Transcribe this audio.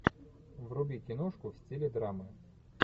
вруби киношку в стиле драмы